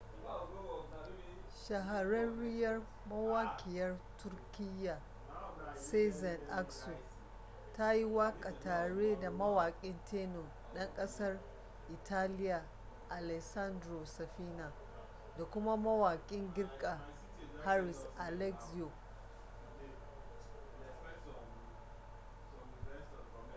shahararriyar mawaƙiyar turkiyya sezen aksu ta yi waƙa tare da mawaƙin tenor ɗan ƙasar italiya alessandro safina da kuma mawakin girka haris alexiou